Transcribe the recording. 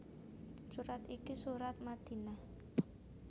Surat iki surat Madinah